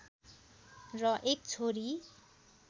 र एक छोरी